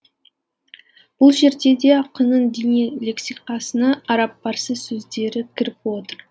бұл жерде де ақынның діни лексикасына араб парсы сөздері кіріп отыр